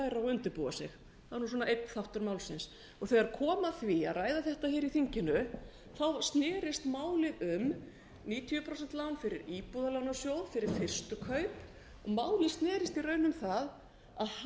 undirbúa sig það var nú svona einn þáttur málsins þegar kom að því að ræða þetta hér í þinginu snerist málið um níutíu prósent lán fyrir íbúðalánasjóð fyrir fyrstu kaup málið snerist í raun um það að